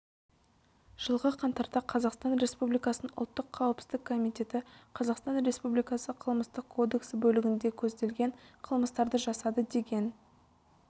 жылғы қаңтарда қазақстан республикасының ұлттық қауіпсіздік комитеті қазақстан республикасы қылмыстық кодексі бөлігінде көзделген қылмыстарды жасады деген